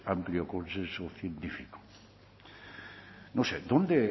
amplio consenso científico no sé dónde